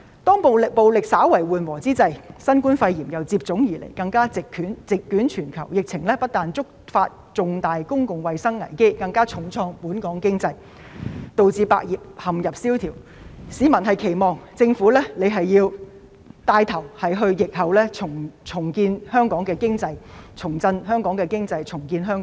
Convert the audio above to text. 當暴力稍為緩和之際，新冠肺炎又接踵而來，更加席捲全球，疫情不單觸發重大公共衞生危機，更重創本港經濟，導致百業蕭條，市民期望政府能夠牽頭在疫後重振香港經濟，重建香港。